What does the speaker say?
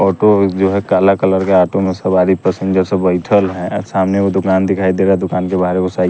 auto जो है काला कलर का ऑटो में सवारी पैसेंजर सब बैठल है सामने वो दुकान दिखाई दे रहा है दुकान के बाहर वो साई --